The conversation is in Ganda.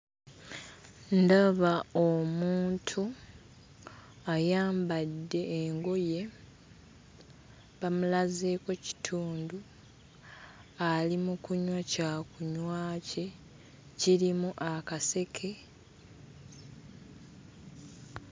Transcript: Ndaba omuntu ayambadde engoye, bamulazeeko kitundu, ali mu kunywa kyakunywa kye, kirimu akaseke.